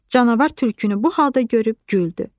Canavar tülkünü bu halda görüb güldü.